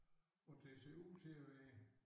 Og det ser ud til at være